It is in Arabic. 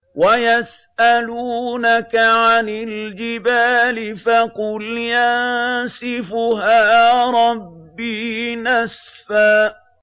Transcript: وَيَسْأَلُونَكَ عَنِ الْجِبَالِ فَقُلْ يَنسِفُهَا رَبِّي نَسْفًا